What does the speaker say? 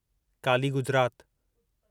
Kali Gujarat